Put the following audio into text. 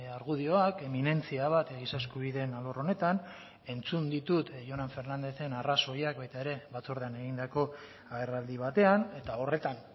argudioak eminentzia bat giza eskubideen alor honetan entzun ditut jonan fernandezen arrazoiak baita ere batzordean egindako agerraldi batean eta horretan